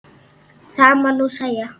Það má nú segja.